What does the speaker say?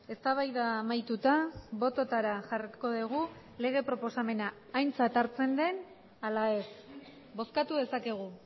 eztabaida amaituta bototara jarriko dugu lege proposamena aintzat hartzen den ala ez bozkatu dezakegu